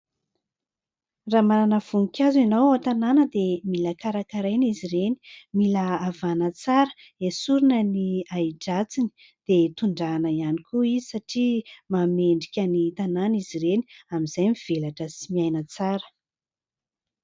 Raha manana voninkazo ianao ao an-tanàna dia mila karakaraina izy ireny, mila havaina tsara, esorina ny ahidratsiny dia hitondrahana ihany koa izy satria manome endrika ny tanàna izy ireny, amin'izay mivelatra sy miaina tsara.